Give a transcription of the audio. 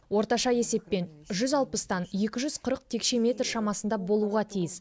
орташа есепппен жүз алпыстан екі жүз қырық текше метр шамасында болуға тиіс